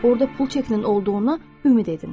Orada pul çəkinin olduğundan ümid edin.